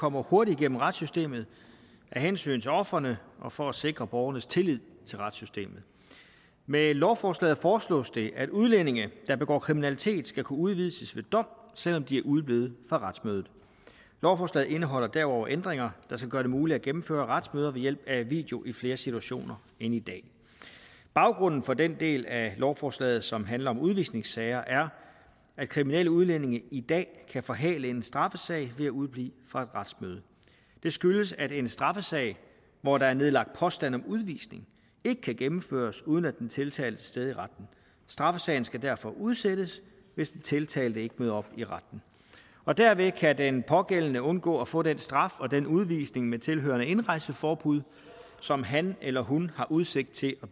kommer hurtigt igennem retssystemet af hensyn til ofrene og for at sikre borgernes tillid til retssystemet med lovforslaget foreslås det at udlændinge der begår kriminalitet skal kunne udvises ved dom selv om de er udeblevet fra retsmødet lovforslaget indeholder derudover ændringer der skal gøre det muligt at gennemføre retsmøder ved hjælp af video i flere situationer end i dag baggrunden for den del af lovforslaget som handler om udvisningssager er at kriminelle udlændinge i dag kan forhale en straffesag ved at udeblive fra retsmødet det skyldes at en straffesag hvor der er nedlagt påstand om udvisning ikke kan gennemføres uden at den tiltalte stede i retten straffesagen skal derfor udsættes hvis den tiltalte ikke møder op i retten og derved kan den pågældende undgå at få den straf og den udvisning med tilhørende indrejseforbud som han eller hun har udsigt til at